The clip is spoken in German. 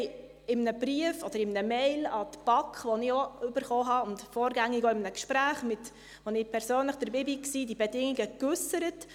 Sie haben in einem Brief, respektive in einer E-Mail an die BaK, die ich auch erhalten habe, und vorgängig auch in einem Gespräch, an dem ich persönlich teilnahm, diese Bedingungen geäussert.